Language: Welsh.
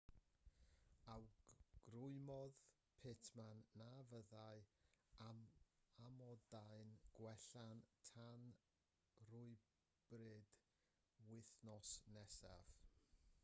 awgrymodd pittman na fyddai amodau'n gwella tan rywbryd wythnos nesaf